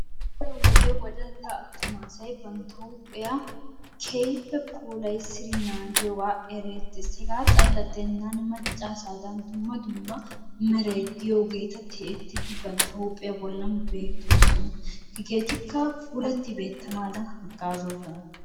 Daroo wodee wodalla asaay banttaa huphiyaa kehippe pulayissidi nagiyogaa erettes, hegaa xala gidenani maccaa asadan dumma dumma meray de'iyogettaa tiyettidi banttaa huphiyaa bolaan tiyetosonna hegettikkaa fulatti bettanadanni nagettosonnaa.